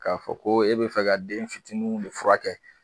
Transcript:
K'a fɔ ko e bɛ fɛ ka den fitininw de furakɛ